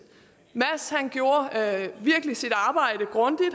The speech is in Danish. mads gjorde virkelig sit arbejde grundigt